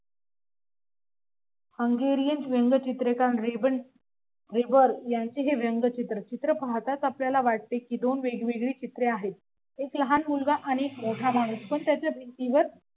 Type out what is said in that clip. hungerian व्यंगचित्रकार ribbon rival यांचे हे व्यंगचित्र चित्र पाहतात आपल्याला वाटते की दोन वेगवेगळी चित्रे आहेत एक लहान मुलगा आणि एक मोठा माणूस पण त्याच्या भिंतीवर